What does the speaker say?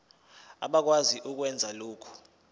abakwazi ukwenza lokhu